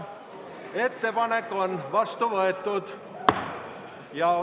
Ettepanek on vastu võetud.